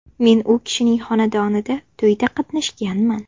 Men u kishinning xonadonida to‘yda qatnashganman.